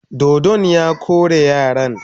Dodon ya kore yaran.